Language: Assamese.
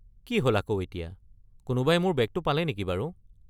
কি হ’ল আকৌ এতিয়া? কোনোবাই মোৰ বেগটো পালে নেকি বাৰু?